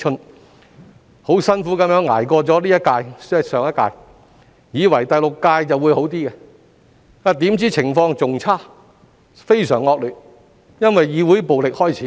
我們幾經辛苦捱過了這一屆——即上一屆——以為第六屆的局面就會好一些，怎料情況更差，甚至非常惡劣，因為議會暴力開始。